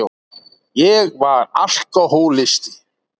Ég var alkohólisti.